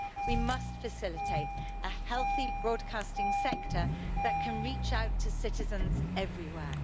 We must facilitate a healthy broadcasting sector that can reach out to citizens everywhere.